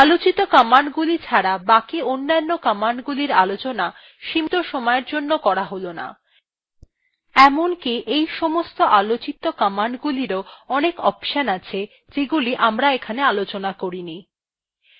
আলোচিত commandsগুলি ছাড়া বাকি অন্যান্য commandsগুলির আলোচনা সীমীত সময়ের জন্য করা হল না এমনকি এই সমস্ত commandsগুলিরও অনেক অপশনস আছে যেগুলি এখানে আলোচনা করা হয়েনি